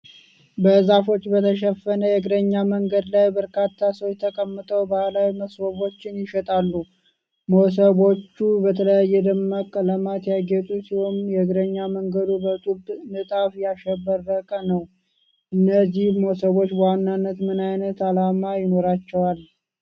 በዛፎች በተሸፈነ የእግረኛ መንገድ ላይ፣ በርካታ ሰዎች ተቀምጠው ባህላዊ መሶቦችን ይሸጣሉ። መሶቦቹ በተለያዩ ደማቅ ቀለማት ያጌጡ ሲሆኑ፣ የእግረኛ መንገዱም በጡብ ንጣፍ ያሸበረቀ ነው። እነዚህ መሶቦች በዋናነት ምን ዓይነት ዓላማ ይኖራቸዋል?